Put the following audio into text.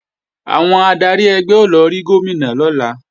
Àwọn adarí ẹgbẹ́ ó lọ rí Gómìnà lọ́la